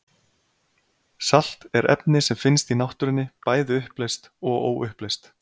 Salt er efni sem finnst í náttúrunni, bæði uppleyst og óuppleyst.